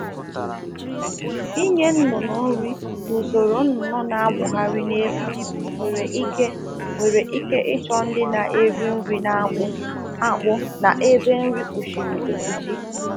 Inye ụmụ ọkụkọ nri na ebe akụchighi akụchighi akuchighi nwere ike ịchọ efere nri ọkụkọ nke a na ebugharị ebugharị